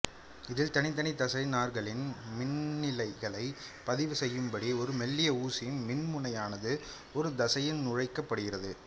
இதில் தனித்தனி தசை நார்களின் மின்னிலைகளை பதிவு செய்யும்படி ஒரு மெல்லிய ஊசி மின்முனையானது ஒரு தசையில் நுழைக்கப்படுகிறது